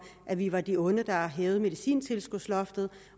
at vi var de onde der hævede medicintilskudsloftet